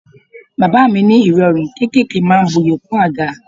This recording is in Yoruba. Bàbá mi ní irọrun kéékèèké máa ń bu'yi kún àga.